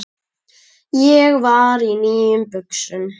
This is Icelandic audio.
Ég var í nýjum buxum.